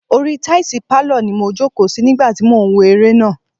Orí i táìsì pálọ̀ ni mo jòkó sí nígbà tí mò ń wo eré náà.